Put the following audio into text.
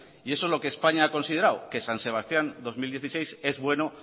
y eso es lo que españa ha considerado que san sebastián dos mil dieciséis es bueno